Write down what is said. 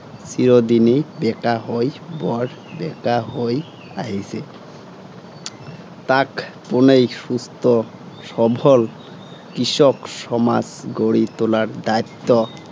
চিৰদিনেই বেঁকা হৈ, বৰ বেঁকা হৈ আহিছে। তাক পােনেই সুস্থ সবল, কৃষক সমাজ গঢ়ি তােলাৰ দায়িত্ব